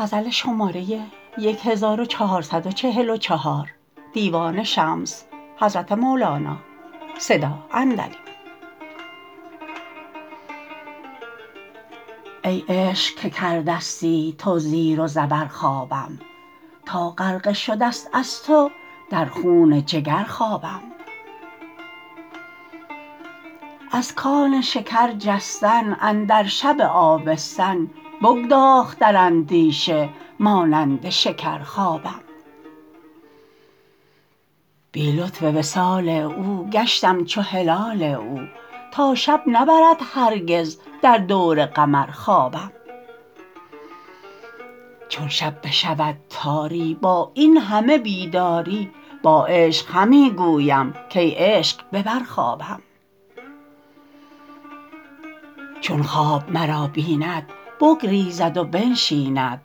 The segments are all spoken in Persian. ای عشق که کردستی تو زیر و زبر خوابم تا غرقه شده ست از تو در خون جگر خوابم از کان شکر جستن اندر شب آبستن بگداخت در اندیشه مانند شکر خوابم بی لطف وصال او گشتم چو هلال او تا شب نبرد هرگز در دور قمر خوابم چون شب بشود تاری با این همه بیداری با عشق همی گویم کای عشق ببر خوابم چون خواب مرا بیند بگریزد و بنشیند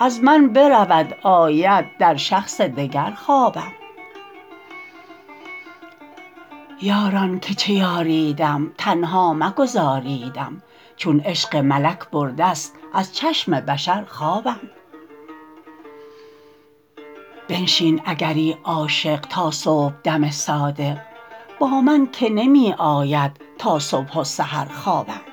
از من برود آید در شخص دگر خوابم یاران که چه یاریدم تنها مگذاریدم چون عشق ملک برده ست از چشم بشر خوابم بنشین اگری عاشق تا صبحدم صادق با من که نمی آید تا صبح و سحر خوابم